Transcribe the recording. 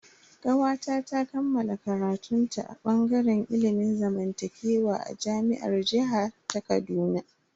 Kawata ta kammala karatun ta a bangaren ilimin zamantakewa a jami'ar jiha ta Kaduna.